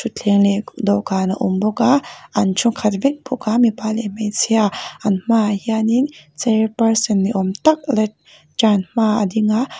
thutthleng leh dawhkan a awm bawk a an thu khat vek bawk a mipa leh hmeichhia an hma ah hian in person ni awm tak lectern hma ah a ding a.